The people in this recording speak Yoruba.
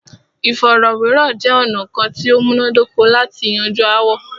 Ìfọ̀rọ̀wérọ̀ jẹ́ ọ̀nà kán tí o múná dóko lati yanju aáwọ̀.